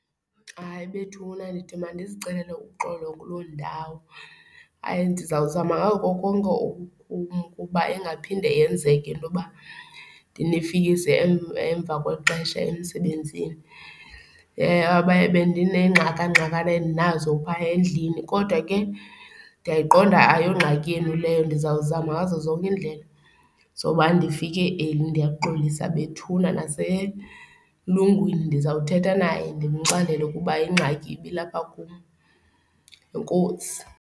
Hayi, bethuna ndithi mandizicelele uxolo kuloo ndawo. Hayi, ndizawuzama ngako konke okukum kuba ingaphinde yenzeke into yoba ndinifikise emva kwexesha emsebenzini. Bendinengxakangxakana endinazo phaya endlini kodwa ke ndiyayiqonda ayongxaki yenu leyo. Ndizawuzama ngazo zonke indlela zoba ndifike early. Ndiyaxolisa bethuna naselungwini ndizawuthetha naye, ndimxelele ukuba ingxaki ibilapha kum. Enkosi.